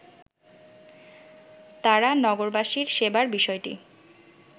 তারা নগরবাসীর সেবার বিষয়টি